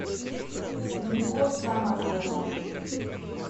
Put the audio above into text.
любовь соматова